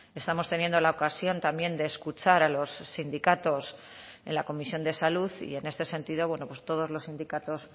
estamos teniendo la ocasión también de escuchar a los sindicatos en la comisión de salud y en este sentido bueno pues todos los sindicatos